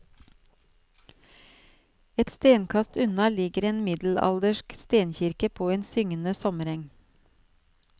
Et stenkast unna ligger en middelaldersk stenkirke på en syngende sommereng.